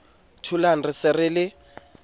tholang re se re le